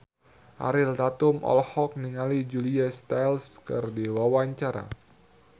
Ariel Tatum olohok ningali Julia Stiles keur diwawancara